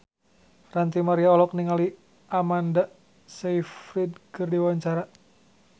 Ranty Maria olohok ningali Amanda Sayfried keur diwawancara